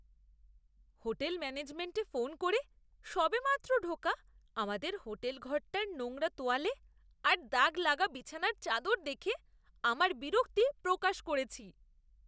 Hotel ম্যানেজমেন্টে phone করে সবেমাত্র ঢোকা আমাদের হোটেল ঘরটার নোংরা তোয়ালে আর দাগ লাগা বিছানার চাদর দেখে আমার বিরক্তি প্রকাশ করেছি।